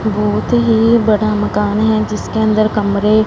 बहोत ही बड़ा मकान हैं जिसके अंदर कमरे--